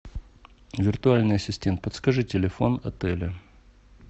виртуальный ассистент подскажи телефон отеля